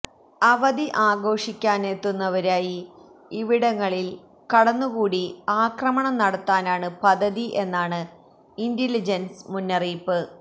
അവധി ആഘോഷിക്കാനെത്തുന്നവരായി ഇവിടങ്ങളില് കടന്നുകൂടി ആക്രമണം നടത്താനാണു് പദ്ധതി എന്നാണ് ഇന്റലിജന്സ് മുന്നറിയിപ്പ്